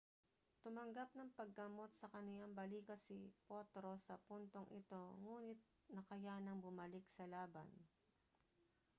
tumanggap ng paggamot sa kaniyang balikat si potro sa puntong ito nguni't nakayanang bumalik sa laban